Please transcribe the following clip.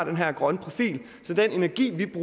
lidt